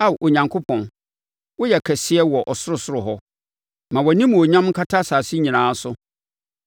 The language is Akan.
Ao Onyankopɔn, woyɛ kɛseɛ wɔ ɔsorosoro hɔ; ma wʼanimuonyam nkata asase nyinaa so.